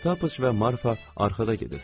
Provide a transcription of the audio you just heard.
Pataç və Marfa arxada gedirdilər.